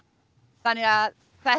þannig að þetta